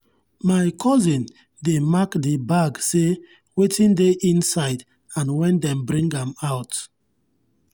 my cousin dey mark the bag say wetin dey inside and when dem bring am out.